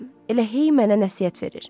Elə hey mənə nəsihət verir.